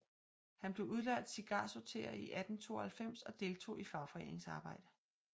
Han blev udlært cigarsorterer i 1892 og deltog i fagforeningsarbejde